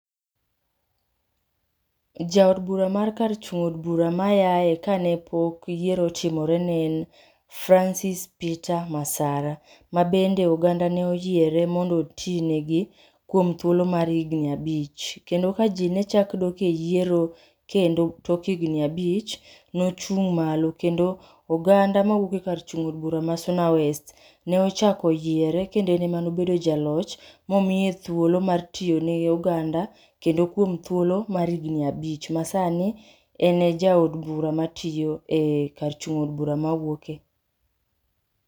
Jaod bura mar kar chung' od bura mayaye kane pok yiero otimore ne en Francis Peter Masara. Ma bende oganda ne oyiere mondo otine gi kuom thuolo mar higni abich. Kendo ka jii nechak dok e yiero kendo tok higni abich, nochung' malo kendo oganda mawuok e kar chung' od bura ma Suna West, ne ochako yiere kendo en ema ne obedo jaloch, momiye thuolo mar tiyo ne oganda, kendo kuom thuolo mar higni abich ma sani, en e jaod bura matiyo e, kar chung' od bura mawuoke